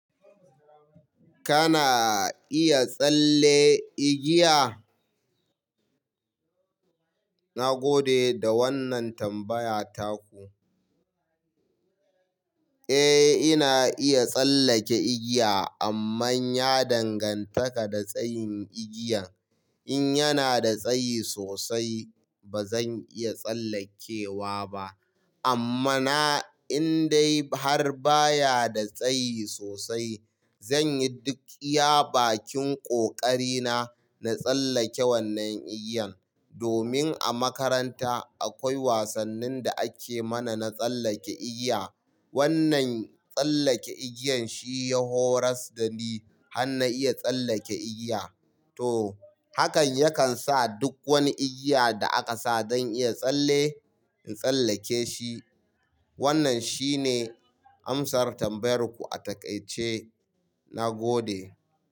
Kana iya tsalle igiya? Na gode da wannan tambaya taku. Eh, ina iya tsallake igiya amma ya dangantaka da tsayin igiyan. In yana da tsayi sosai ba zan iya tsallekewa ba amma na indai har baya da tsayi sosai zan yi duk iya bakin ƙoƙari na na tsallake wannan igiyan. Domin a makaranta akwai wasannin da ake mana na tsallake igiya. Wannan tsallake igiyan shi ya horas da ni har na iya tsallake igiya. To, hakan yakan sa duk wani igiya da aka sa don iya tsalle in tsallake shi. Wannan shine amsar tambayar ku a takaice. Na gode.